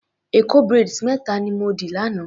Èkó braids méta ni mo dì lánàá.